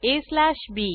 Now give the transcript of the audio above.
aबी